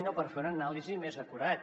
o per fer una anàlisi més acurada